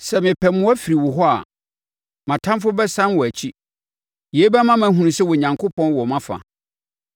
Sɛ mepɛ mmoa firi wo hɔ a, mʼatamfoɔ bɛsane wɔn akyi. Yei bɛma mahunu sɛ Onyankopɔn wɔ mʼafa.